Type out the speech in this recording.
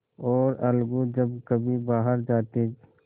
और अलगू जब कभी बाहर जाते